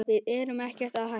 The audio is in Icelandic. Við erum ekkert að hætta.